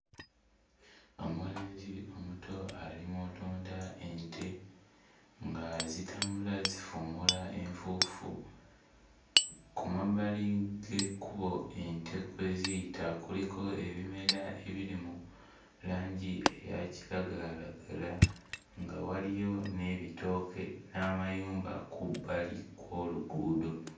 Omulenzi omuto ali mu lunda ente nga zitambula zifuumuula enfuufu ku mabbali g'ekkubo ente kwe ziyita kuliko ebimera ebiri mu langi eya kiragalalagala nga waliyo n'ebitooke n'amayumba ku bbali kw'oluguudo.